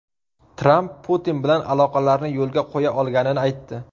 Tramp Putin bilan aloqalarni yo‘lga qo‘ya olganini aytdi.